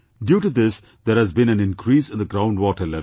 Due to this there has been an increase in the ground water level